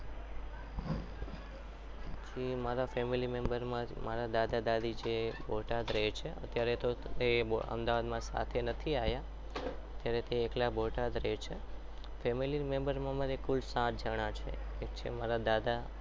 પછી મારા family member માં મારા દાદા દાદી છે તે બોટાદ રહે છે ત્યારે એ અમદાવાદમાં સાથે નથી આવ્યા ત્યારે તે એકલા બોટાદ રહે છે family member માં મારે કુલ સાત જણા છે એક છે મારા દાદા